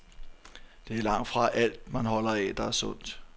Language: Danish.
Det er langtfra alt, man holder af, der er sundt.